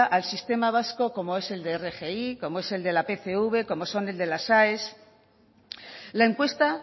al sistema vasco como es el de rgi como es el de la pcv como son el de las aes la encuesta